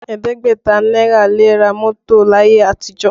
Ẹ̀ẹ́dẹ́gbẹ̀ta náírà le ra mọ́tò láyé àtijọ́